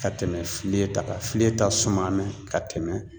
Ka tɛmɛ filen ta kan filen ta suma mɛ ka tɛmɛ